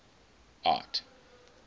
art